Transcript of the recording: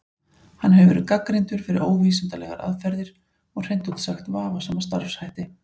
Hann hefur verið gagnrýndur fyrir óvísindalegar aðferðir og hreint út sagt vafasama starfshætti.